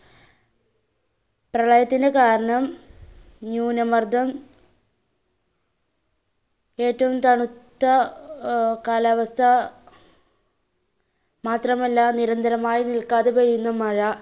പ്രളയത്തിന് കാരണം ന്യൂനമർദ്ധം, ഏറ്റവും തണുത്ത ആഹ് കാലാവസ്ഥ, മാത്രമല്ല നിരന്തരമായി നില്ക്കാതെ പെയ്യുന്ന മഴ.